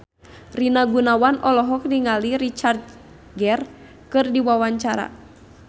Rina Gunawan olohok ningali Richard Gere keur diwawancara